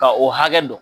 Ka o hakɛ don